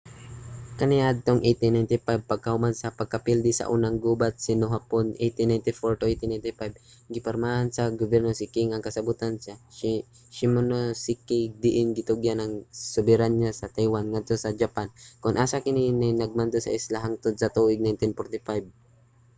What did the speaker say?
kaniadtong 1895 pagkahuman sa pagkapildi sa unang gubat sa sino-hapon 1894-1895 gipirmahan sa gobyerno sa qing ang kasabotan sa shimonoseki diin gitugyan ang soberanya sa taiwan ngadto sa japan kon asa kini kay nagmando sa isla hangtod sa tuig 1945